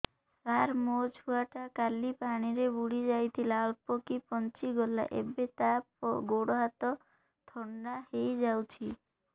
ସାର ମୋ ଛୁଆ ଟା କାଲି ପାଣି ରେ ବୁଡି ଯାଇଥିଲା ଅଳ୍ପ କି ବଞ୍ଚି ଗଲା ଏବେ ତା ଗୋଡ଼ ହାତ ଥଣ୍ଡା ହେଇଯାଉଛି